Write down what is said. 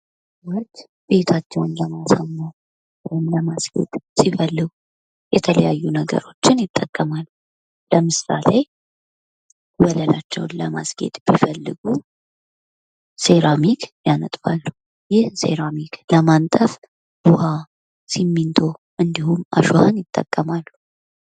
ሰዎች ቤታቸውን ለማሳመር ወይም ለማስጌጥ ሲፈልጉ የተለያዩ ነገሮችን ይጠቀማሉ ለምሳሌ ወለላቸውን ለማስጌጥ ቢፈልጉ ሴራሚ ያነጥፋሉ ይህ ሴራሚክ ለማንጠፍ ውሃ ሲሚንቶ እንዲሁም አሸዋን ይጠቀማል ::